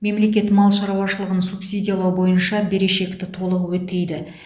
мемлекет мал шаруашылығын субсидиялау бойынша берешекті толық өтейді